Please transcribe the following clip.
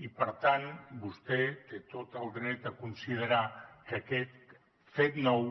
i per tant vostè té tot el dret a considerar que aquest fet nou